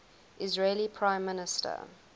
israeli prime minister